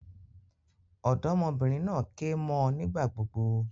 Òdómọbìnrin naa ké mó ọ nígbà gbogbo